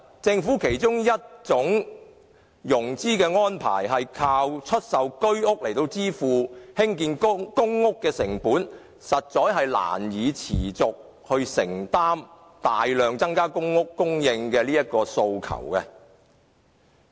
政府其中一種融資安排，是藉出售居屋來支付興建公屋的成本，但單靠這樣，實難以持續承擔大量增加公屋供應的需求。